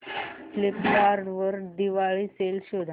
Flipkart वर Diwali sale शोधा